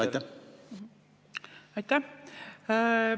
Aitäh!